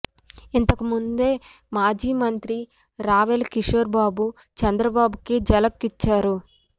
ఇంతకుముందే మాజీ మంత్రి రావెల కిషోర్ బాబు చంద్రబాబుకి ఝలక్ ఇచ్చారు